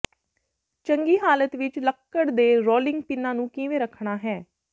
ਚੰਗੀ ਹਾਲਤ ਵਿਚ ਲੱਕੜ ਦੇ ਰੋਲਿੰਗ ਪਿੰਨਾਂ ਨੂੰ ਕਿਵੇਂ ਰੱਖਣਾ ਹੈ